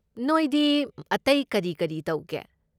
ꯅꯣꯏꯗꯤ ꯑꯇꯩ ꯀꯔꯤ ꯀꯔꯤ ꯇꯧꯒꯦ?